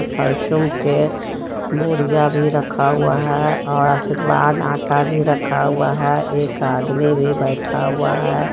फॉस्युन के बोरिया भी रखा हुआ है और आशीर्वाद आटा भी रखा हुआ है एक आदमी भी बैठा हुआ है.